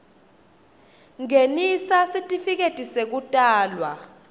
ngenisa sitifiketi sekutalwa